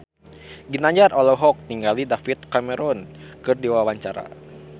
Ginanjar olohok ningali David Cameron keur diwawancara